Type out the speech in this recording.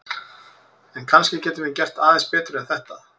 En kannski getum við gert aðeins betur en þetta!